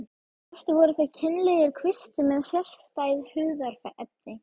Flestir voru þeir kynlegir kvistir með sérstæð hugðarefni.